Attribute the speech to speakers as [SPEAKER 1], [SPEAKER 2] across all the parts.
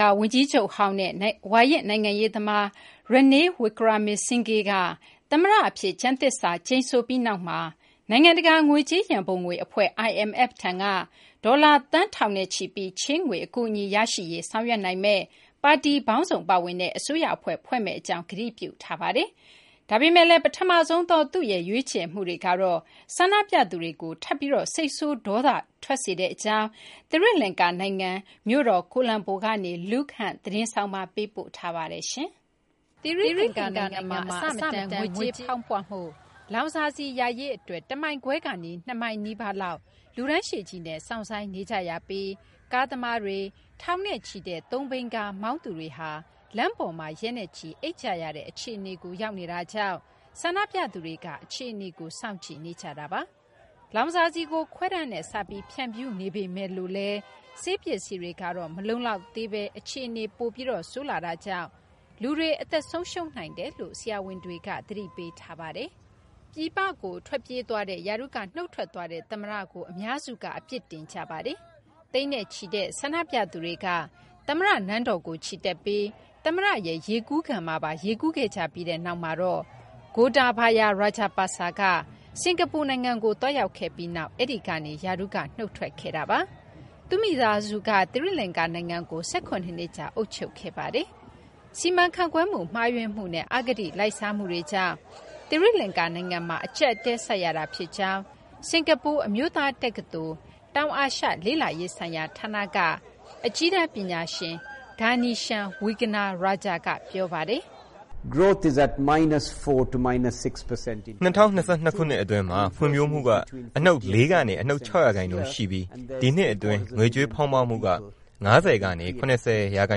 [SPEAKER 1] ကာၤ ဝန်ကြီးချုပ်ဟောင်းနဲ့ ဝါရင့် နိုင်ငံရေး သမား Ranil Wickremesinghe က သမ္မတ အဖြစ် ကျမ်းသစ္စာ ကျိန်ဆိုပြီး နောက်မှာတော့ နိုင်ငံတကာ ငွေကြေးရန်ပုံငွေ အဖွဲ့ IMF ထံက ဒေါ်လာ သန်းထောင်နဲ့ချီပြီး ချေးငွေ အကူအညီ ရရှိရေး ဆောင်ရွက်နိုင်မယ့် ပါတီပေါင်းစုံ ပါဝင်တဲ့ အစိုးရ အဖွဲ့ကို ဖွဲ့စည်းမယ့် အကြောင်း ကတိပြုထားပါတယ်။ ဒါပေမယ့်လည်း ပထမဆုံးသော သူ့ရဲ့ ရွေးချယ်မှုတွေကတော့ ဆန္ဒပြသူတွေကို ထပ်ပြီး စိတ်ဆိုးဒေါသ ထွက်စေကြောင်း သီရိလကာၤ နိုင်ငံ ကိုလံဘို မြို့တော်ကနေ Luke Hunt သတင်းဆောင်းပါး ပေးပို့ထားပါတယ်။ မသိင်္ဂ ီထိုက် ပြောပြပေးပါမယ်။ သီရိလကာၤ နိုင်ငံမှာ အဆမတန် ငွေကြေးဖောင်းပွမှု၊ လောင်စာဆီ ရရေး အတွက် ၁မိုင်ခွဲကနေ ၂ မိုင်နီးပါးလောက် လူတန်းရှည်ကြီးနဲ့ စောင့်ဆိုင်းနေကြရပြီး ကားသမားတွေ၊ ထောင်နဲ့ချီတဲ့ Tuk-tuk မောင်းသူတွေဟာ လမ်းပေါ်မှာ ရက်နဲ့ချီ အိပ်ကြရတဲ့ အခြေအနေကို ရောက်နေတာကြောင့် ဆန္ဒပြသူတွေက အခြေအနေကို စောင့်ကြည့်နေကြတာပါ။ လောင်စာဆီကို ခွဲတမ်းနဲ့ စပြီး ဖြန့်ဖြူးနေပေမဲ့လို့လည်း ဆေး ပစ္စည်းတွေကတော့ မလုံလောက်သေးဘဲ အခြေအနေက ပိုပြီး ဆိုးရွားလာနေတာကြောင့် လူတွေ အသက်ဆုံးရှုံးနိုင်တယ်လို့ ဆရာဝန်တွေက သတိပေးထားပါတယ်။ ပြည်ပကို ထွက်ပြေးသွားတဲ့ ရာထူးက နုတ်ထွက်သွားတဲ့ သမ္မတကို အများစုက အပြစ်တင်ကြပါတယ်။ သိန်းနဲ့ချီတဲ့ ဆန္ဒပြသူတွေက သမ္မတ နန်းတော်ကို ချီတက်ပြီး သမ္မတရဲ့ ရေကူးကန်မှာပါ ရေးကူးခဲ့ကြပြီးနောက်မှာတော့ Gotabaya Rajapaksa က စကာၤပူ နိုင်ငံကို သွားရောက်ခဲ့ပြီးနောက် အဲဒီကနေ ရာထူးက နုတ်ထွက်ခဲ့တာပါ။ သူ့မိသားစုက သီရိလကာၤ နိုင်ငံကို ၁၇ နှစ်ကြာ အုပ်ချုပ်ခဲ့တာပါ။ စီမံခန့်ခွဲမှု မှားယွင်းမှုနဲ့ အဂတိ လိုက်စားမှုတွေကြောင်း သီရိလကာၤ နိုင်ငံမှာ အကျပ်အတည်း ဆိုက်ရတာ ဖြစ်ကြောင်း စကာၤပူ အမျိုးသား တက္ကသိုလ် တောင်အာရှ လေ့လာရေးဆိုင်ရာ ဌာနက အကြီးတန်း ပညာရှင် Ganeshan Wignarjara က ပြောပါတယ်
[SPEAKER 2] ။ ၂၀၂၂ ခုနှစ် အတွင်းမှာ ဖွံ့ဖြိုးမှုက အနုတ် ၄ ကနေ အနုတ် ၆ ရာခိုင်နှုန်း ရှိပြီး ဒီနှစ် အတွင်း ငွေကြေးဖောင်းပွမှုက ၅၀ ကနေ ၇၀ ရာခို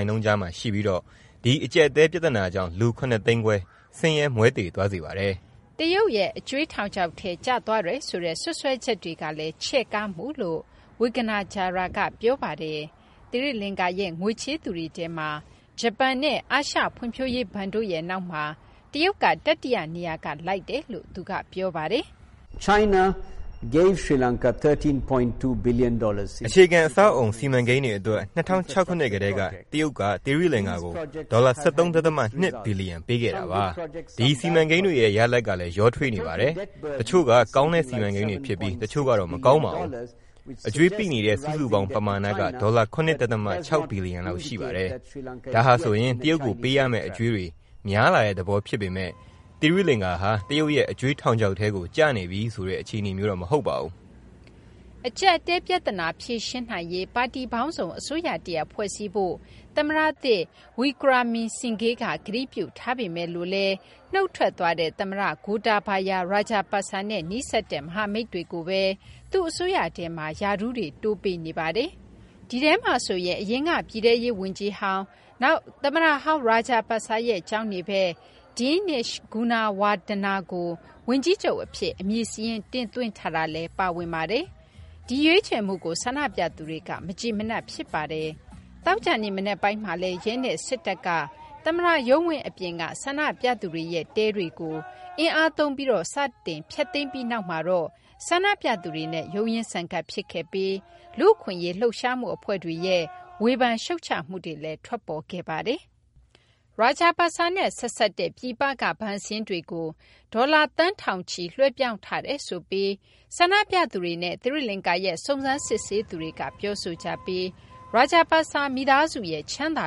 [SPEAKER 2] င်နှုန်းကြားမှာ ရှိပြီး ဒီအကျပ်အတည်း ပြသနာကြောင့် လူ ၇ သိန်းခွဲ ဆင်းရဲမွဲတေသွားစေပါတယ်
[SPEAKER 1] ။ တရုတ်ရဲ့ အကြွေးထောင်ချောက်ထဲ ကျသွားတယ်ဆိုတဲ့ စွပ်စွဲချက်တွေလည်း ချဲ့ကားမှုလို့ Wignajara က ပြောပါတယ်။ သီရိလကာၤရဲ့ ငွေချေးသူတွေထဲမှာ ဂျပန်နဲ့ အာရှ ဖွံံ့ဖြိုးရေးဘဏ်တို့ရဲ့ နောက်မျာ တရုတ်က တတိယ နေရာက လိုက်တယ်လို့လည်း သူက ပြောပါတယ်
[SPEAKER 2] ။ အခြေခံ အဆောက်အအုံ စီမံကိန်းတွေ အတွက် ၂၀၀၆ ခုနှစ် ကတည်းက တရုတ်က သီရိလကာၤကို ဒေါ်လာ ၁၃ ဒသမ ၂ ဘီလျံ ပေးခဲ့တာပါ။ ဒီစီမံကိန်းတွေရဲ့ ရလဒ်ကလည်း ရောထွေးနေပါတယ်။ တချို့က ကောင်းတဲ့ စီမံကိန်းတွေ ဖြစ်ပြီး တချို့ကတော့ မကောင်းပါဘူး။ အကြွေးပိနေတဲ့ စုစုပေါင်း ပမာဏက ဒေါ်လာ ၇ ဒသမ ၆ ဘီလျံ လောက် ရှိပါတယ်။ ဒါဟာဆိုရင် တရုတ်ကို ပေးရမယ့် အကြွေးတွေ များလာတဲ့ သဘော ဖြစ်ပေမဲ့ သီရိလကာၤဟာ တရုတ်ရဲ့ အကြွေးထောင်ချောက်ထဲကို ကျနေပြီဆိုတဲ့ အခြေအနေမျိုးတော့ မဟုတ်ပါဘူး
[SPEAKER 1] ။ အကျပ်အတည်း ပြသနာကို ဖြေရှင်းရေး ပါတီပေါင်းစုံ အစိုးရတရပ် ဖွဲ့စည်းဖို့ သမ္မတသစ် Wickremesinghe က ကတိပြု ထားပေမဲ့လို့လည်း နုတ်ထွက်သွားတဲ့ သမ္မတ Gotabaya Rajapaksa နဲ့ နီးစပ်တဲ့ မဟာမိတွေကိုဘဲ သူ့အစိုးရထဲမှာ ရာထူးတွေ တိုးပေးနေပါတယ်။ ဒီထဲမှာဆိုရင် အရင်က ပြည်ထဲရေး ဝန်ကြီးဟောင်း၊ နောက် သမ္မတဟောင်း Rajapaksa ရဲ့ ကျောင်းနေဖက် Dinesh Gunawardena ကို ဝန်ကြီးချုပ် အဖြစ် အမည်စာရင်း တင်သွင်းထားတာလည်း ပါဝင်ပါတယ်။ ဒီရွေးချယ်မှုကို ဆန္ဒပြသူတွေက မကျေမနပ် ဖြစ်ကြပါတယ်။ သောကြာနေ့ မနက်ပိုင်းမှာလည်း ရဲနဲ့ စစ်တပ်က သမ္မတရုံးဝင်း အပြင်က ဆန္ဒပြသူတွေရဲ့ တဲတွေကို အင်အားသုံးပြီး စတင် ဖျက်သိမ်းပြီးနောက်မှာတော့ ဆန္ဒပြသူတွေနဲ့ ရုန်းရင်းဆန်ခတ် ဖြစ်ခဲ့ပြီး လူ့အခွင့်အရေး လှုပ်ရှားမှု အဖွဲ့တွေရဲ့ ဝေဖန်ရှုတ်ချမှုတွေလည်း ထွက်ပေါ်ခဲ့ပါတယ်။ Rajapaksa နဲ့ ဆက်စပ်တဲ့ ပြည်ပက ဘဏ်စာရင်းတွေကို ဒေါ်လာ သန်း ထောင်ချီ လွှဲပြောင်းထားတယ်ဆိုပြီး ဆန္ဒပြသူတွေနဲ့ သီရိလကာၤရဲ့ စုံစမ်းစစ်ဆေးသူတွေက ပြောဆိုကြပြီး Rajapaksa မိသားစုရဲ့ ချမ်းသာ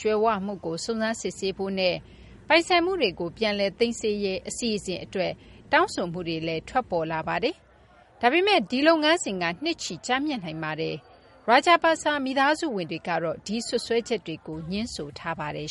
[SPEAKER 1] ကြွယ်ဝမှုကို စုံစမ်းစစ်ဆေးဖို့နဲ့ ပိုင်ဆိုင်မှုတွေကို ပြန်လည် သိမ်းဆည်းရေး အစီအစဉ်အတွက် တောင်းဆိုမှုတွေလည်း ထွက်ပေါ်လာပါတယ်။ ဒါပေမယ့် ဒီလုပ်ငန်းစဉ်က နှစ်ချီ ကြာမြင့်နိုင်ပါတယ်။ Rajapaksa မိသားစုဝင်တွေကတော့ ဒီစွပ်စွဲချက်ကို ငြင်းဆိုထားပါတယ်